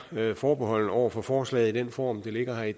forbeholdne over for forslaget i den form det ligger i